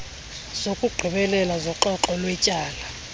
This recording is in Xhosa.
zokugqibela zoxoxo lwetyala